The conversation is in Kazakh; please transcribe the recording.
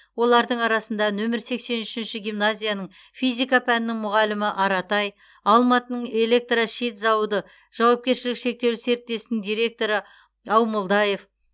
олардың арасында нөмір сексен үшінші гимназияның физика пәнінің мұғалімі аратай алматының электрощит зауыты жауапкершілігі шектеулі серіктестігінің директоры аумолдаев